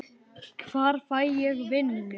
Hvar fæ ég vinnu?